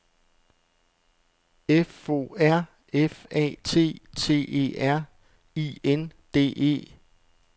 F O R F A T T E R I N D E